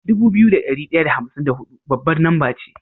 Dubu biyu da dari daya da hamsin da hudu babbar namba ce